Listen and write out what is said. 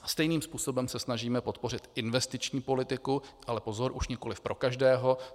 Stejným způsobem se snažíme podpořit investiční politiku - ale pozor, už nikoli pro každého.